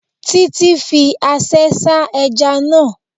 Títí fi aṣẹ́ sá ẹja náà